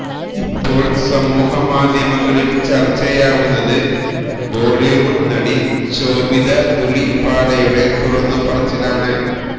ഇപ്പോള് സമൂഹ മാധ്യമങ്ങളില് ചര്ച്ചയാവുന്നത് ബോളിവുഡ് നടി ശോഭിത ധുളിപാലയുടെ തുറന്നു പറച്ചിലാണ്